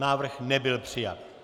Návrh nebyl přijat.